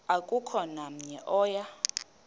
akukho namnye oya